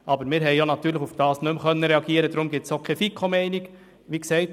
Aber darauf konnten wir natürlich nicht mehr reagieren, weshalb es auch keine FiKoMeinung dazu gibt.